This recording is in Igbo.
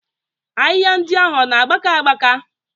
Ahịhịa ndị ahụ ọ na-agbaka agbaka?